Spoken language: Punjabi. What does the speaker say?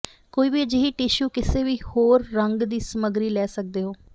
ਕੋਈ ਵੀ ਅਜਿਹੀ ਟਿਸ਼ੂ ਕਿਸੇ ਵੀ ਹੋਰ ਰੰਗ ਦੀ ਸਮੱਗਰੀ ਲੈ ਸਕਦੇ ਹੋ